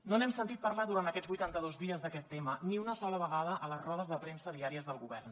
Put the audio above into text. no n’hem sentit parlar durant aquests vuitantados dies d’aquest tema ni una sola vegada a les rodes de premsa diàries del govern